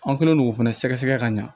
An kɛlen don k'o fana sɛgɛsɛgɛ ka ɲa